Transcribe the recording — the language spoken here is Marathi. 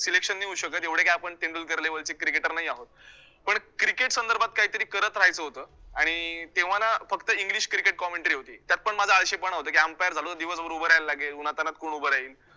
Selection नाही होऊ शकतं, एवढे काय आपण तेंडुलकर level चे cricketer नाही आहोत, पण cricket संदर्भात काहीतरी करत राहायचं होतं आणि अं तेव्हा ना फक्त english cricket commentary होती, त्यातपण माझ्या आळशीपणा होता की umpire झालो दिवसभर उभं राहायला लागेल, उन्हात तान्हात कोण उभं राहील?